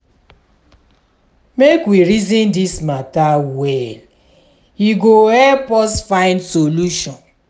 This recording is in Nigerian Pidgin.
make we reason this matter well e go help us find solution.